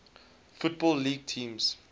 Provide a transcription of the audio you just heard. football league teams